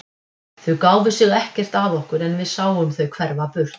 Þau gáfu sig ekkert að okkur en við sáum þau hverfa burt.